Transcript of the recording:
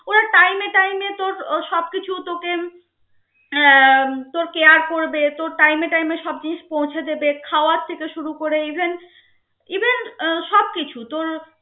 তোর সব কিছু তোকে আহ তোর care করবে তোর time এ time এ সব জিনিস পৌছে দেবে খাওয়ার থেকে শুরু করে even even উহ সব কিছু তোর